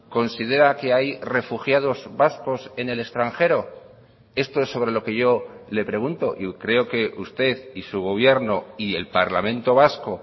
considera que hay refugiados vascos en el extranjero esto es sobre lo que yo le pregunto y creo que usted y su gobierno y el parlamento vasco